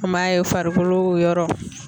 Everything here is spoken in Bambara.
An b'a ye farikolo yɔrɔ.